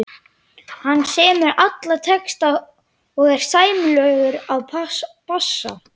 Hann semur alla texta og er sæmilegur á bassa.